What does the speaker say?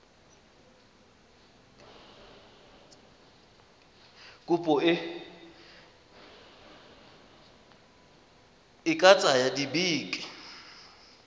kopo e ka tsaya dibeke